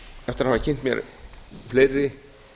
eftir að hafa kynnt mér fleiri